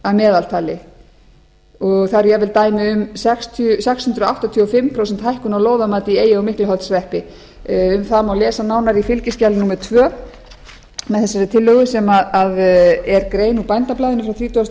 að meðaltali og það eru jafnvel dæmi um sex hundruð áttatíu og fimm prósenta hækkun á lóðamati í eyja og miklaholtshreppi um það má lesa nánar í fylgiskjali númer tvö með þessari tillögu sem er grein úr bændablaðinu frá þrítugasta